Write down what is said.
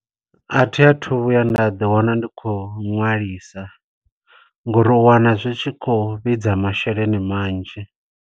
A thi a thu vhuya nda ḓi wana ndi khou ṅwalisa, ngo uri u wana zwi tshi khou vhidza masheleni manzhi.